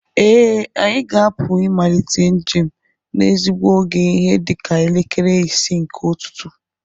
Ee, anyị ga-apụ ịmalite njem n'ezigbo oge ihe dịka elekere isii nke ụtụtụ